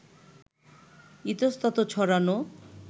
ইতস্তত ছড়ানো